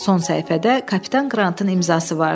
Son səhifədə kapitan Qrantın imzası vardı.